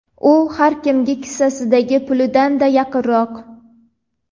u har kimga kissasidagi pulidan-da yaqinroq.